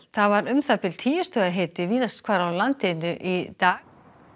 það var um það bil tíu stiga hiti víðast hvar á landinu í dag